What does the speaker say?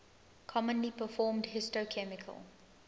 commonly performed histochemical